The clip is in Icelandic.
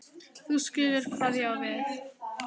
þú skilur hvað ég á við.